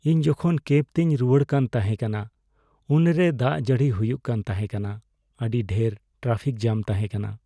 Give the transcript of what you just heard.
ᱤᱧ ᱡᱚᱠᱷᱚᱱ ᱠᱮᱵ ᱛᱮᱧ ᱨᱩᱣᱟᱹᱲ ᱠᱟᱱ ᱛᱟᱦᱮᱸ ᱠᱟᱱᱟ, ᱩᱱᱨᱮ ᱫᱟᱜ ᱡᱟᱹᱲᱤ ᱦᱩᱭᱩᱜ ᱠᱟᱱ ᱛᱟᱦᱮᱸ ᱠᱟᱱᱟ, ᱟᱹᱰᱤ ᱰᱷᱮᱨ ᱴᱨᱟᱯᱷᱤᱠ ᱡᱟᱢ ᱛᱟᱦᱮᱸ ᱠᱟᱱᱟ ᱾